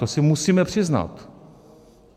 To si musíme přiznat.